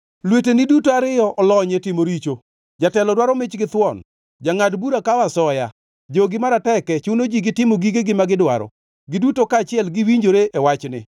Lweteni duto ariyo olony e timo richo. Jatelo dwaro mich githuon, jangʼad bura kawo asoya, jogi maroteke chuno ji gi timo gigegi magidwaro, giduto kaachiel giwinjore e wachni.